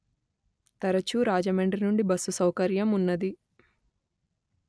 తరచు రాజమండ్రి నుండిబస్సు సౌకర్యం ఉన్నది